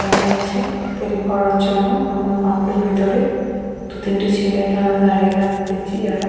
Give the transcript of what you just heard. দাঁড়িয়ে আছে তেল ভরার জন্য এবং পাম্প -এর ভেতরে দু তিনটে ছেলেকে আমরা দাঁড়িয়ে থাকতে দেখছি যারা--